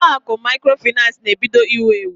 Ụlọ akụ maịkrofaịnans na-ebido iwu ewu.